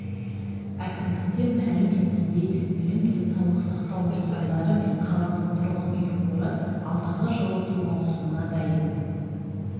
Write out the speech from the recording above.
әкімдіктен мәлім еткендей білім денсаулық сақтау нысандары мен қаланың тұрғын үй қоры алдағы жылыту маусымына дайын